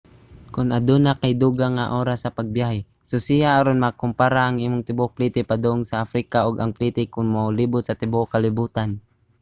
kon aduna kay dugang nga oras sa pagbiyahe susiha aron makompara ang imong tibuok plite padung africa og ang plite kon molibot sa tibuok kalibotan